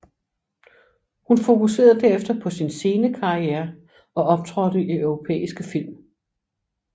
Hun fokuserede derefter på sin scenekarriere og optrådte i europæiske film